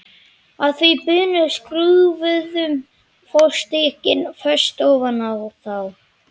Að því búnu skrúfuðum við fótstykkin föst ofan á þá.